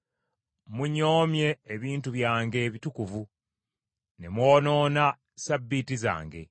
Munyoomye ebintu byange ebitukuvu, ne mwonoona Ssabbiiti zange.